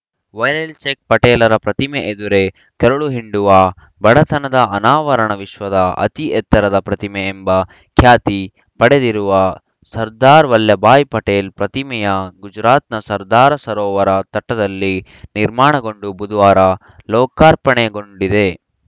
viral check ಪಟೇಲರ ಪ್ರತಿಮೆ ಎದುರೇ ಕರುಳಹಿಂಡುವ ಬಡತನದ ಅನಾವರಣ ವಿಶ್ವದ ಅತಿ ಎತ್ತರದ ಪ್ರತಿಮೆ ಎಂಬ ಖ್ಯಾತಿ ಪಡೆದಿರುವ ಸರ್ದಾರ್‌ ವಲ್ಲಭ ಭಾಯಿ ಪಟೇಲ್‌ ಪ್ರತಿಮೆಯು ಗುಜರಾತ್‌ನ ಸರ್ದಾರ್‌ ಸರೋವರ ತಟದಲ್ಲಿ ನಿರ್ಮಾಣಗೊಂಡು ಬುಧವಾರ ಲೋಕಾರ್ಪಣೆಗೊಂಡಿದೆ